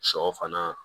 Sɔ fana